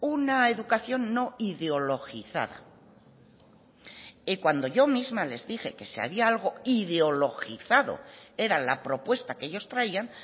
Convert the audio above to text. una educación no ideologizada y cuando yo misma les dije que si había algo ideologizado era la propuesta que ellos traían